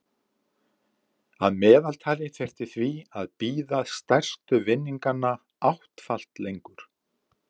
Að meðaltali þyrfti því að bíða stærstu vinninganna áttfalt lengur.